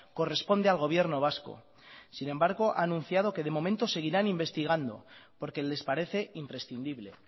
corresponde al gobierno vasco sin embargo ha anunciado que de momento seguirán investigando porque les parece imprescindible